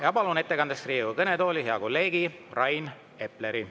Ja palun ettekandeks Riigikogu kõnetooli hea kolleegi Rain Epleri.